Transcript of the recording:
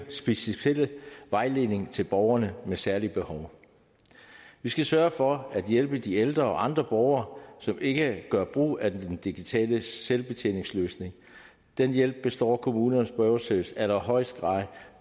speciel vejledning til borgerne med særlige behov vi skal sørge for at hjælpe de ældre og andre borgere som ikke gør brug af den digitale selvbetjeningsløsning den hjælp står kommunernes borgerservice i allerhøjeste grad